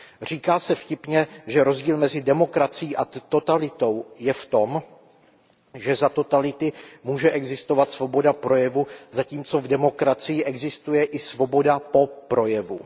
Říká se vtipně, že rozdíl mezi demokracií a totalitou je v tom, že za totality může existovat svoboda projevu, zatímco v demokracii existuje i svoboda po projevu.